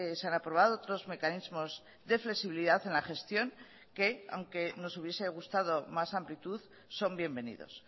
se han aprobado otros mecanismos de flexibilidad en la gestión que aunque nos hubiese gustado más amplitud son bienvenidos